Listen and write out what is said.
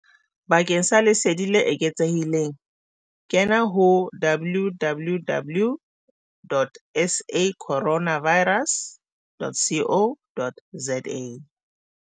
Bakeng sa lesedi le eketsehileng kena ho www.sacorona virus.co.za